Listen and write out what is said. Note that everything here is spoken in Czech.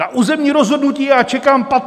Na územní rozhodnutí já čekám 15 let!